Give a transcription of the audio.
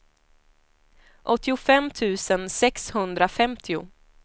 åttiofem tusen sexhundrafemtio